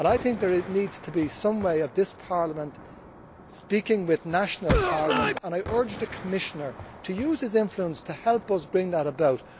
There needs to be some way for this Parliament to speak with national parliaments, and I urge the Commissioner to use his influence to help us bring that about.